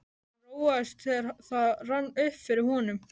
Hann róaðist, þegar það rann upp fyrir honum.